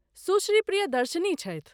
सुश्री प्रियदर्शिनी छथि ।